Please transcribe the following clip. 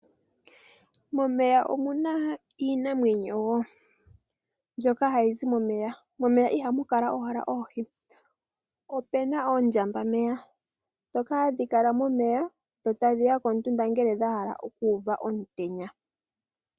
Momeya omu na iinamwenyo wo, mbyoka hayi zi momeya. Momeya ihamu kala owala oohi. Ope na oondjambameya ndhoka hadhi kala momeya dho tadhi ya komutunda ngele dha hala okuuva omutenya.